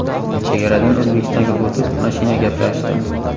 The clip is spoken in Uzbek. Chegaradan O‘zbekistonga o‘tib, mashina gaplashdim.